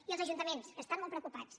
i els ajuntaments que estan molt preocupats